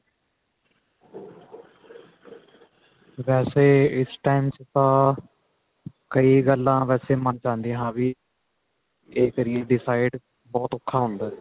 ਵੈਸੇ ਇਸ time ਚ ਤਾਂ ਕਈ ਗੱਲਾ ਵੈਸੇ ਮੰਨ ਚ ਆਂਦੀਆਂ ਵੀ ਹਾਂ ਵੀ ਕਿ ਕਰੀਏ decide ਬਹੁਤ ਔਖਾ ਹੁੰਦਾ